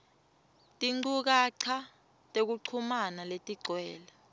tinchukaca tekuchumana letigcwele